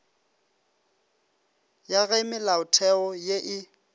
ya ge melaotheo ye e